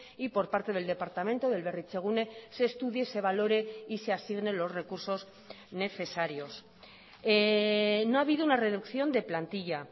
y por parte del departamento del berritzegune se estudie se valore y se asignen los recursos necesarios no ha habido una reducción de plantilla